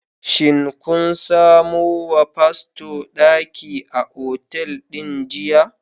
Shin kun samo wa fasto daki a otal din jiya?